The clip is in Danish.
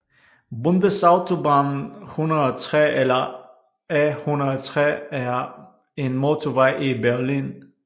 Bundesautobahn 103 eller A 103 er en motorvej i Berlin